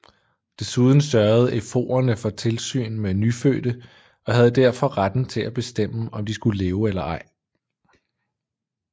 Desuden sørgede ephorerne for tilsyn med nyfødte og havde derfor retten til at bestemme om de skulle leve eller ej